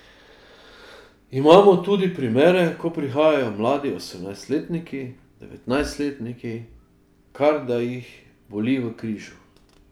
Imamo tudi primere, ko prihajajo mladi osemnajstletniki, devetnajstletniki, ker da jih boli v križu.